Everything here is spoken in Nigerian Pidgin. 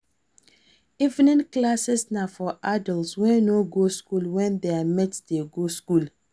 Evening classes na for adults wey no go school when their mates de go school